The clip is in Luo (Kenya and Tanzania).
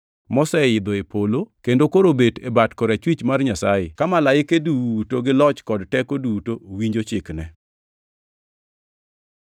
moseidho e polo kendo koro obet e bat korachwich mar Nyasaye, ka malaike duto gi loch kod teko duto winjo chikne.